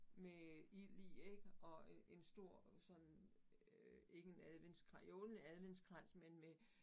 Med ild i ik og øh en stor sådan øh ikke en adventskrans jo en adventskrans men med